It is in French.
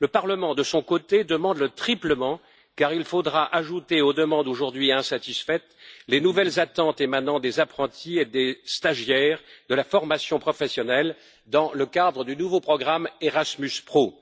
Le Parlement de son côté, demande le triplement car il faudra ajouter aux demandes aujourd'hui insatisfaites, les nouvelles attentes émanant des apprentis et des stagiaires de la formation professionnelle, dans le cadre du nouveau programme Erasmus Pro.